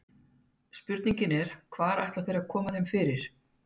Spurningin er, hvar ætla þeir að koma þeim fyrir?